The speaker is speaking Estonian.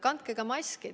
Kandke ka maski!